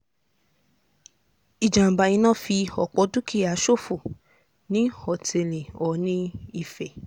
ìjàm̀bá iná fi òpọ̀ dúkìá ṣòfò ní òtẹ́ẹ̀lì oòní ìfẹ́